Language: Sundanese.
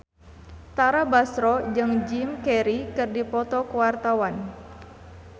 Tara Basro jeung Jim Carey keur dipoto ku wartawan